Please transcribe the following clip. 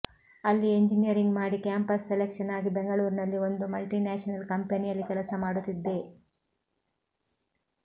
ಅಲ್ಲಿ ಎಂಜಿನೀಯರಿಂಗ್ ಮಾಡಿ campus selection ಆಗಿ ಬೆಂಗಳೂರಿನಲ್ಲಿ ಒಂದು ಮಲ್ಟಿ ನ್ಯಾಷನಲ್ ಕಂಪನಿಯಲ್ಲಿ ಕೆಲಸ ಮಾಡುತ್ತಿದ್ದೆ